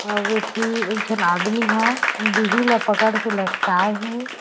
अउ ए ठो एक झन आदमी ह बिहि ला पकड़ के लटकाये हे।